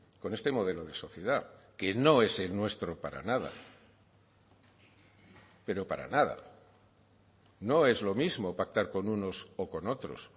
con este modelo de sociedad que no es el nuestro para nada pero para nada no es lo mismo pactar con unos o con otros